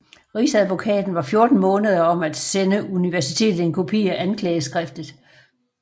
Rigsadvokaten var 14 måneder om at sende universitetet en kopi af anklageskriftet